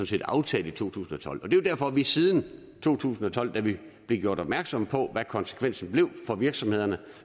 set aftalte i to tusind og tolv det er jo derfor at vi siden to tusind og tolv da vi blev gjort opmærksomme på hvad konsekvensen blev for virksomhederne